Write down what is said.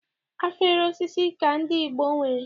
Afere osisi ka ndị gboo nwere.